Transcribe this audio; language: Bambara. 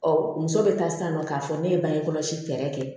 muso bɛ taa sisan nɔ k'a fɔ ne ye bange kɔlɔsi fɛɛrɛ kɛ